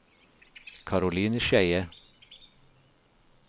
Caroline Skeie